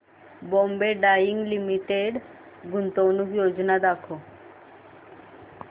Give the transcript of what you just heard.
Bombay dyeing limited गुंतवणूक योजना दाखव